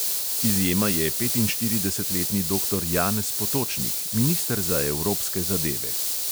Izjema je petinštiridesetletni doktor janez potočnik, minister za evropske zadeve.